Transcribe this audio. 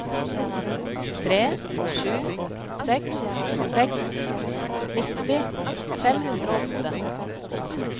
tre sju seks seks nitti fem hundre og åtte